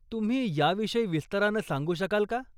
तुम्ही याविषयी विस्तारानं सांगू शकाल का?